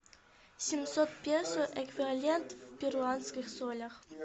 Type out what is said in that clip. семьсот песо эквивалент в перуанских солях